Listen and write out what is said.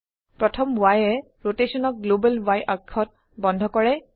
প্ৰথম Yএ ৰোটেশনক গ্লোবেল Y অক্ষত বন্ধ কৰে